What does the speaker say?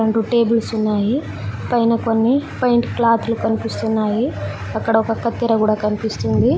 రెండు టేబుల్స్ ఉన్నాయి పైన కొన్ని పెయింట్ క్లాతులు కనిపిస్తున్నాయి అక్కడ ఒక కత్తెర కూడా కనిపిస్తుంది.